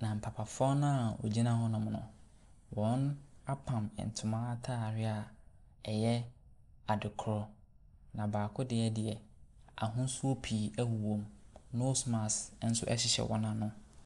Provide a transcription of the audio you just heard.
Na papafoɔ naa egyina hɔ nom no, wɔapam ntoma ataadeɛ a ɛyɛ adekrɔ. Na baako deɛ deɛ ahosuo pii ɛwowɔ mu. Nose mask ɛnso ɛhyehyɛ wɔn ano.